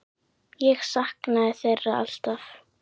Ég saknaði þeirra alltaf.